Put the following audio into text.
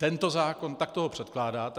Tento zákon, takto ho předkládáte.